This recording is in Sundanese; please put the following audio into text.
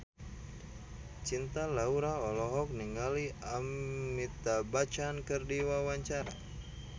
Cinta Laura olohok ningali Amitabh Bachchan keur diwawancara